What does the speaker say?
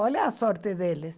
Olha a sorte deles.